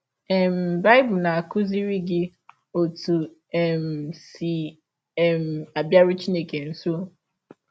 um Bible na - akụziri gị ọtụ e um si um abịarụ Chineke nsọ